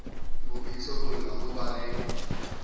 ho itsibola ho ba le